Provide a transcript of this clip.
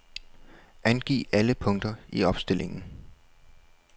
Angiv alle punkter i opstillingen.